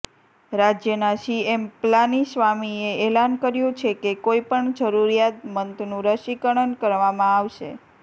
રાજ્યના સીએમ પલાનીસ્વામીએ એલાન કર્યુ છે કે કોઈ પણ જરુરિયાદમંદનું રસીકરણ કરવામાં આવશે